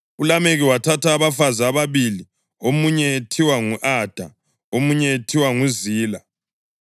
ULameki wathatha abafazi ababili, omunye ethiwa ngu-Ada, omunye ethiwa nguZila.